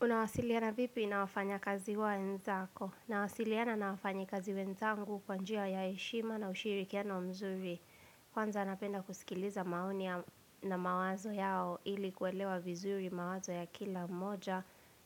Unawasiliana vipi na wafanya kazi wa enzako? Nawasiliana na wafanyi kazi wenzangu kwanjia ya eshima na ushiri kiano mzuri. Kwanza napenda kusikiliza maonia na mawazo yao ili kuelewa vizuri mawazo ya kila mmoja